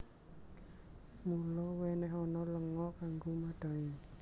Mula wènèhana lenga kanggo madhangi